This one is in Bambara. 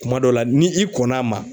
Kuma dɔ la ni i kɔnn'a ma.